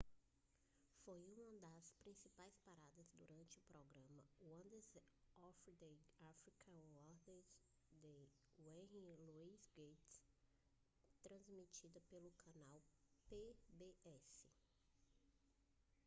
foi uma das principais paradas durante o programa wonders of the african world de henry louis gates transmitida pelo canal pbs